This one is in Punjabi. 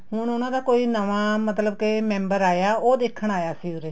ਹੁਣ ਉਹਨਾ ਦਾ ਕੋਈ ਨਵਾਂ ਮਤਲਬ ਕੇ member ਆਇਆ ਹੈ ਉਹ ਦੇਖਣ ਆਇਆ ਸੀ ਉਰੇ